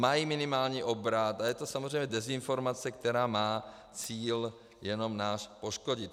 Mají minimální obrat a je to samozřejmě dezinformace, která má cíl jenom nás poškodit.